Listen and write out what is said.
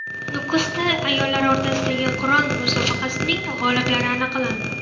Nukusda ayollar o‘rtasidagi Qur’on musobaqasining g‘oliblari aniqlandi .